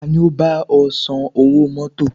Ta ni ó bá ọ san owó mọ́tọ̀?